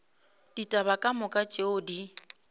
ditaba ka moka tšeo di